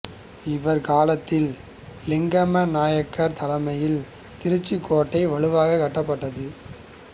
இவர் காலத்தில் லிங்கம நாயக்கர் தலைமையில் திருச்சிக் கோட்டை வலுவாக்கப்பட்டது